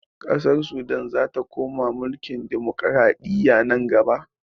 Ƙasar sudan zata koma mulkin dimukuraɗiyya nan gaba